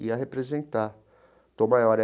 Ia representar Tom Maior.